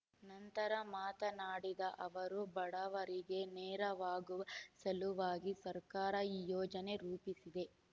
ನಂತರ ಮಾತನಾಡಿದ ಅವರು ಬಡವರಿಗೆ ನೆರವಾಗುವ ಸಲುವಾಗಿ ಸರ್ಕಾರ ಈ ಯೋಜನೆ ರೂಪಿಸಿದೆ